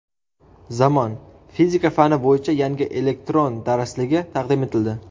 Zamon | Fizika fani bo‘yicha yangi elektron darsligi taqdim etildi.